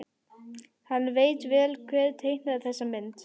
Hann veit vel hver teiknaði þessa mynd.